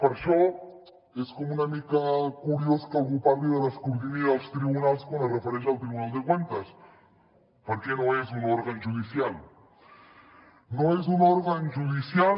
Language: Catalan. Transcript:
per això és com una mica curiós que algú parli de l’escrutini dels tribunals quan es refereix al tribunal de cuentas perquè no és un òrgan judicial no és un òrgan judicial